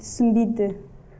түсінбейді